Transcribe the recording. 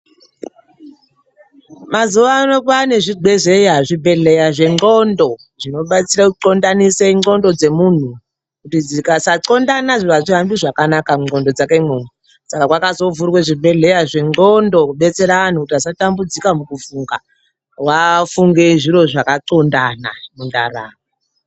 Mazuvano kwaane zvibhedhlera, zvibhedhlera zvendxondo, zvinodetsera kutxondanise ndxondo dzemuntu, kuti dzikasatxondana hazvihambi zvakanaka mundxondo dzakemo. Saka kwakazovhurwe zvibhedhlera zvendxondo kudetsera antu kuti asatambudzika mukufunga, vafunge zviro zvakatxondana mundaramo.